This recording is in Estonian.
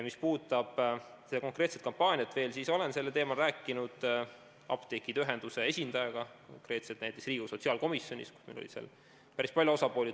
Mis puudutab seda konkreetset kampaaniat, siis olen sellel teemal rääkinud apteekide ühenduse esindajaga konkreetselt näiteks Riigikogu sotsiaalkomisjonis, kus oli kohal päris palju osapooli.